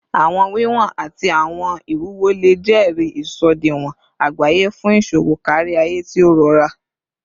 Awọn wiwọn ati awọn iwuwo le jẹri isọdiwọn agbaye fun iṣowo kariaye ti o rọra